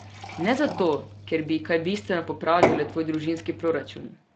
Ne zato, ker bi kaj bistveno popravile tvoj družinski proračun.